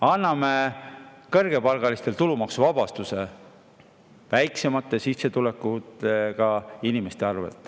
Anname kõrgepalgalistele tulumaksuvabastuse väiksemate sissetulekutega inimeste arvel.